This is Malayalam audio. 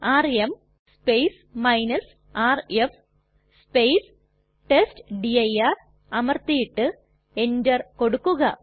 ആർഎം rf ടെസ്റ്റ്ഡിർ അമർത്തിയിട്ട് എന്റർ കൊടുക്കുക